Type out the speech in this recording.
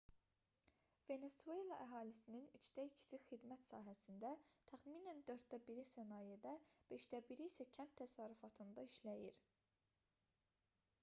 venesuela əhalisinin üçdə ikisi xidmət sahəsində təxminən dörddə biri sənayedə beşdə biri isə kənd təsərrüfatında işləyir